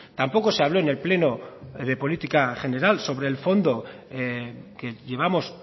tampoco se habló en el pleno de política general sobre el fondo que llevamos